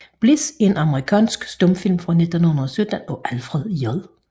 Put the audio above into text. Bliss er en amerikansk stumfilm fra 1917 af Alfred J